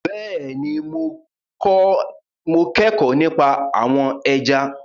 Bẹ́ẹ̀ni mo kẹ́kọ̀ọ́ nípa àwọn ẹja